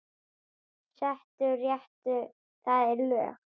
Settur réttur, það er lög.